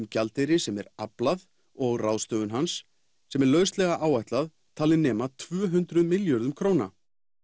gjaldeyri sem er aflað og ráðstöfun hans sem er lauslega áætlað nema tvö hundruð milljörðum króna